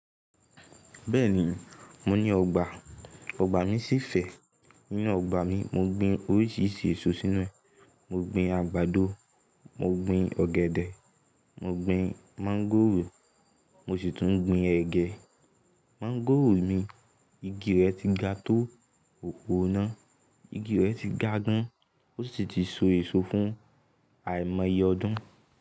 Bẹ́ẹ̀ni, mo ni ọgbà. Ọgbà mi ṣì fẹ́. Nínú ọgbà mi, mo gbin oríṣiríṣi èso sínú rẹ̀. Mo gbin àgbàdo, mo gbin ọ̀gẹ̀dẹ̀, mo gbin máńgòrò, mo sì tún ń gbin ẹgẹ. Máńgòrò mi, igi rẹ̀ ti ga tó òpó iná. Igi rẹ̀ ti ga gan, ó sì ti so èso fún àìmàyé ọdún.